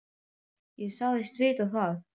Ég sagðist vita það.